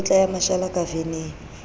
mekotla ya mashala ka veneng